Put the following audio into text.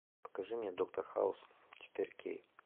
покажи мне доктор хаус четыре кей